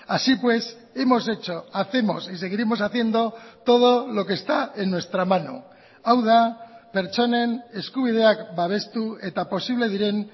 así pues hemos hecho hacemos y seguiremos haciendo todo lo que está en nuestra mano hau da pertsonen eskubideak babestu eta posible diren